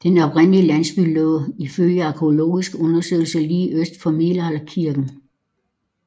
Den oprindelige landsby lå ifølge arkæologiske undersøgelser lige øst for middelalderkirken